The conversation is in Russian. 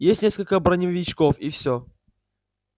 есть несколько броневичков и все